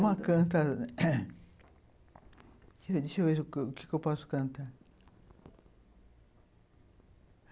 Uma canta... Deixa eu ver o que eu posso cantar.